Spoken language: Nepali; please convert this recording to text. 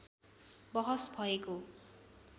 बहस भएको